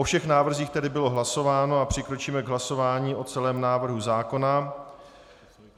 O všech návrzích tedy bylo hlasováno a přikročíme k hlasování o celém návrhu zákona.